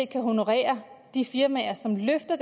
kan honorere de firmaer som løfter